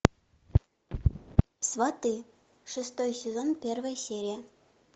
сваты шестой сезон первая серия